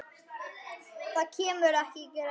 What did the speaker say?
Það kemur ekki til greina.